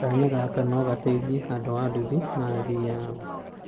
kanya gaka nĩgateithĩtie andu a nduthi na athii aao